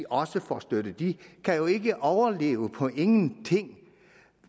også får støtte de kan jo ikke overleve på ingenting